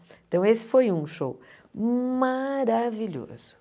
Então, esse foi um show maravilhoso.